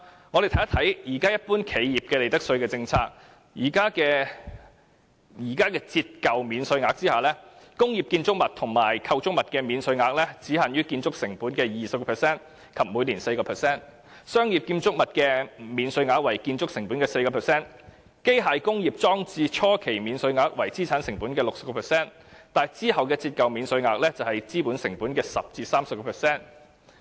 我們看看一般企業的利得稅政策，在現時的折舊免稅額下，工業建築物及構築物的免稅額只限於建築成本的 20% 及每年 4%， 商業建築物的免稅額為建築成本的 4%， 機械工業裝置初期免稅額為資產成本的 60%， 而之後的折舊免稅額則為資本成本的 10% 至 30%。